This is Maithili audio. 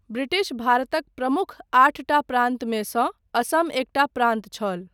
ब्रिटिश भारतक प्रमुख आठटा प्रान्तमे सँ असम एकटा प्रान्त छल।